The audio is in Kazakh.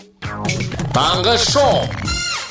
таңғы шоу